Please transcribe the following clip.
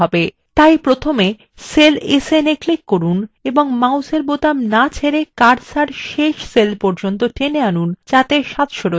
তাই প্রথমে cell snএ click করুন এবং মাউসের বোতাম so ছেড়ে cursor শেষ cell পর্যন্ টেনে আনুন ত যাতে 700 আছে